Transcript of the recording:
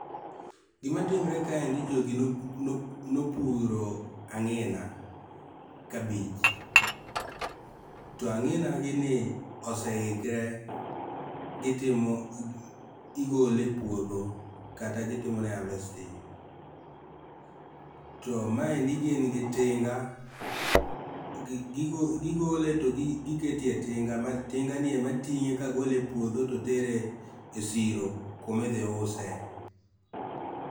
Gimatimore kaendi jogi nopuro angi'na cabbage to angi'na gini ni oseikre gitimo gigole e puotho kata gitimone harvesting to mae endi gin gi tinga gigole to gikete e tinga to tinganie ematinge ka gole e puotho to tere e siro kuma ithiuse